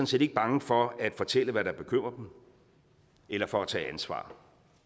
set ikke bange for at fortælle hvad der bekymrer dem eller for at tage ansvar